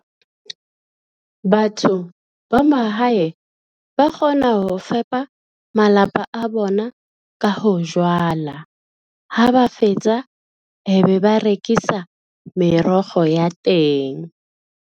Batho ba mahae ba kgona ho fepa malapa a bona ka ho jwala ha ba fetsa, e be ba rekisa merogo ya teng.